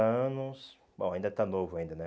anos, bom, ainda está novo, ainda, né?